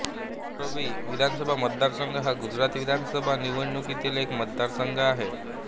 मोरबी विधानसभा मतदारसंघ हा गुजरात विधानसभा निवडणुकीतील एक मतदारसंघ आहे